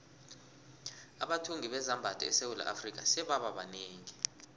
abathungi bezambatho esewula afrika sebaba banengi